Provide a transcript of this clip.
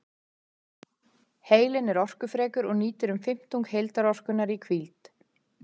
Heilinn er orkufrekur og nýtir um fimmtung heildarorkunnar í hvíld.